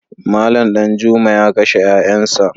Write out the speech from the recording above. Malam Danjuma ya kashe ‘ƴa’ƴansa.